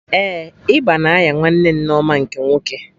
Ee, ịba na-anya nwanne Nneoma nke nwoke